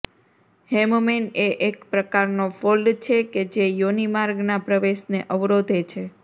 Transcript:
હેમમેન એ એક પ્રકારનો ફોલ્ડ છે કે જે યોનિમાર્ગના પ્રવેશને અવરોધે છે